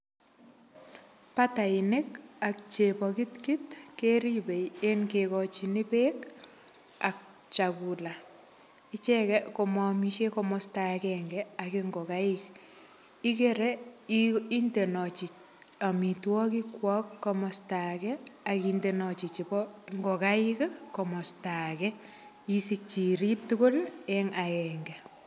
Batainik ak chepokitkit keribei eng kekochini beek ak chakula icheket komoomishen komosta akenge ak ngokaik ikere indenochi omitwokik kwo komosta ake akindenochi nebo ngokaik komosta age isikchi irip tugul eng aenge.